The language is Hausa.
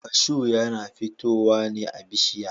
kashu yana futowa ne a bishiya.